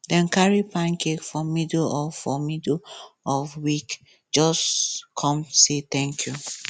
dem carry pancake for middle of for middle of week just come say thank you